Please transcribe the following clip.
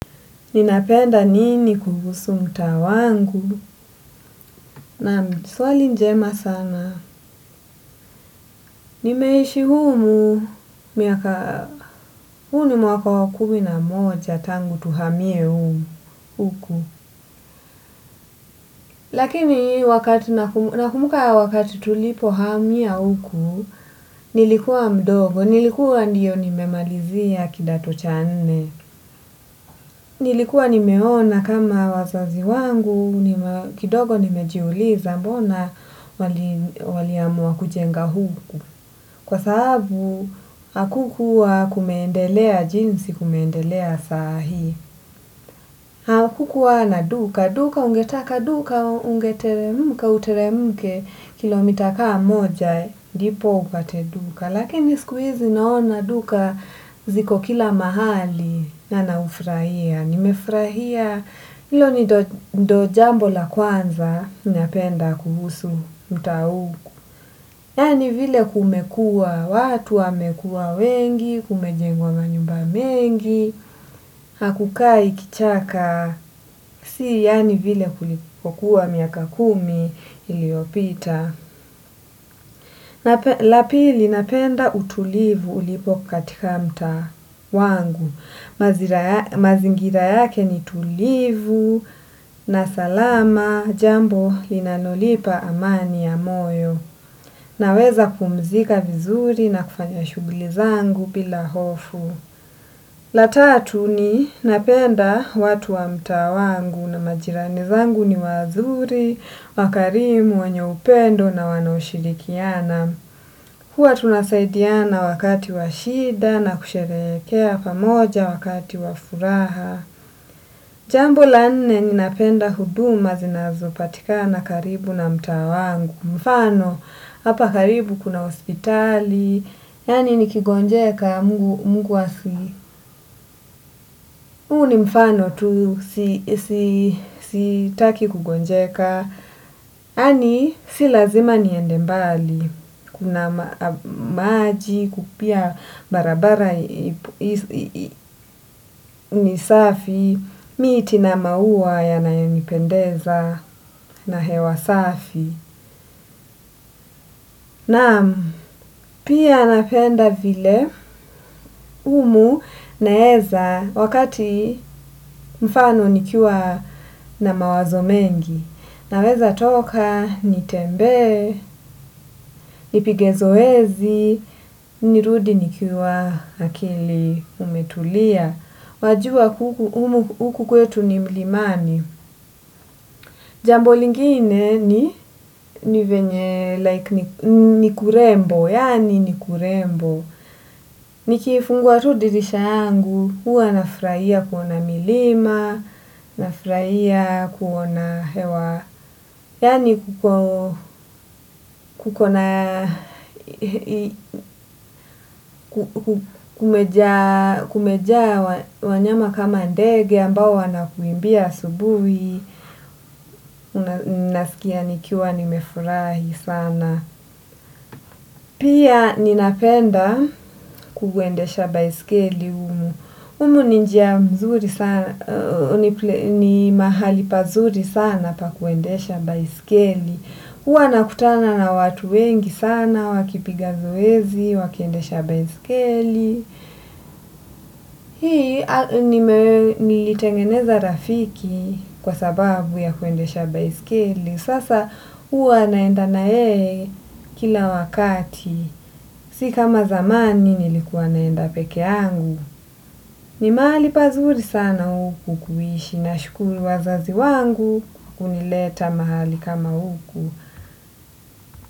Ninapenda nini kuhusu mtaa wangu? Naam, swali njema sana. Nimeishi humu, huu ni mwaka wa kumi na moja tangu tuhamie humu huku. Lakini nakumbuka wakati tulipohamia huku, nilikuwa mdogo, nilikuwa ndio nimemalizia kidato cha nne. Nilikuwa nimeona kama wazazi wangu, kidogo nimejiuliza mbona waliamua kujenga huku. Kwa sababu, hakukuwa kumeendelea jinsi, kumeendelea sahii. Hakukuwa na duka, duka ungetaka duka, ungeteremka, uteremke kilomita kaa moja, ndipo upate duka. Lakini siku hizi naona duka ziko kila mahali na naufurahia. Nimefurahia hilo ni ndio jambo la kwanza napenda kuhusu mtaa huu. Yaani vile kumekuwa, watu wamekuwa wengi, kumejengwa manyumba mengi, hakukai kichaka. Si yaani vile kulikokuwa miaka kumi iliyopita. La pili napenda utulivu ulipo katika mtaa wangu. Mazingira yake ni tulivu na salama jambo linanonipa amani ya moyo. Naweza kupumzika vizuri na kufanya shughuli zangu bila hofu. La tatu ni napenda watu wa mtaa wangu na majirani zangu ni wazuri, wakarimu, wenye upendo na wanaoshirikiana. Huwa tunasaidiana wakati wa shida na kusherehekea pamoja wakati wa furaha. Jambo la nne ninapenda huduma zinazopatikana karibu na mtaa wangu. Mfano, hapa karibu kuna hospitali. Yaani nikigonjeka mungu asi huu ni mfano tu. Sitaki kugonjeka. Yaani, si lazima niende mbali. Na maji, pia barabara ni safi, miti na maua yanayonipendeza na hewa safi. Naam. Pia napenda vile humu naeza wakati mfano nikiwa na mawazo mengi. Naweza toka, nitembee, nipige zoezi, nirudi nikiwa akili umetulia, wajua huku kwetu ni mlimani. Jambo lingine ni venye like ni kurembo, yaani ni kurembo. Nikifungua tu dirisha yangu, huwa nafurahia kuona milima, nafurahia kuona hewa, yaani kuko na kumejaa wanyama kama ndege ambao wanakuimbia asubuhi. Nasikia nikiwa nimefurahi sana. Pia ninapenda kuendesha baiskeli humu. Humu ni njia mzuri sana. Ni mahali pazuri sana pa kuendesha baiskeli. Huwa nakutana na watu wengi sana wakipiga zoezi, wakiendesha baiskeli. Hii nilitengeneza rafiki kwa sababu ya kuendesha baiskeli. Sasa, huwa naenda na yeye kila wakati. Si kama zamani nilikuwa naenda peke yangu. Ni mahali pazuri sana huku kuishi. Nashukuru wazazi wangu kunileta mahali kama huku.